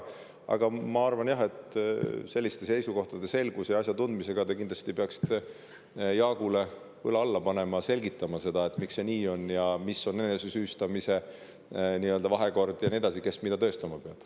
Aga ma arvan, et oma seisukohtade selguse ja asjatundlikkuse tõttu te kindlasti peaksite Jaagu õla alla panema ja selgitama seda, miks see nii on, mis on enesesüüstamise vahekord ja nii edasi, kes mida tõestama peab.